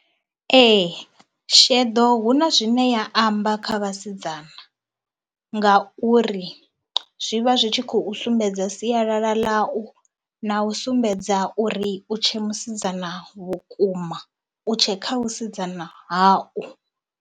Ee sheḓo hu na zwine ya amba kha vhasidzana ngauri zwi vha zwi tshi khou sumbedza sialala ḽau na u sumbedza uri u tshe musidzana vhukuma, u tshe kha vhusidzana hau.